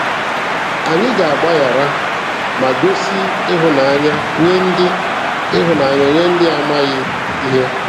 Anyị ga-agbaghara ma gosi ịhụnanya nye ndị ịhụnanya nye ndị na-amaghị ihe.